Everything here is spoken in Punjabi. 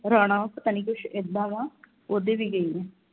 ਰਾਣਾ ਪਤਾ ਨਹੀਂ ਕੁਛ ਇੱਦਾਂ ਦਾ ਉਹਦੇ ਵੀ ਗਈ ਆ